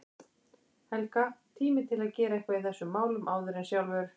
Helga, og tími til að gera eitthvað í þessum málum áður en sjálfur